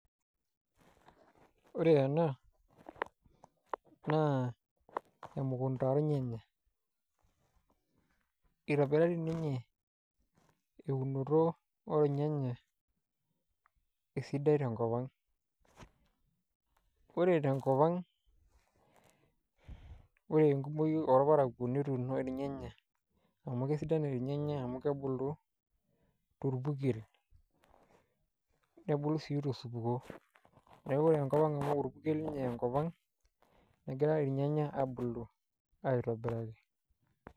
Ore ena naa emukunta ornyanya itobirari ninye eunoto olnyanya esidai tenkop ang' ore tenkop ang' ore enkumoi orparakuo netuuno ilnyanya amu kesidan ilnyanya amu kebulu torpurkel nebulu sii tosupuko neeku ore enkop ang' amu orpurkel ninye enkop ang' negira ilnyanya aabulu aitobiraki.